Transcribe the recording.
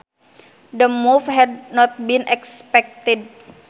The move had not been expected